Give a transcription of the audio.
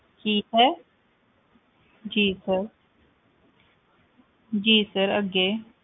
ਕੀ sir ਜੀ sir ਜੀ sir ਅੱਗੇ